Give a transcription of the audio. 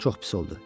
Çox pis oldu.